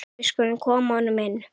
Við skulum koma honum inn!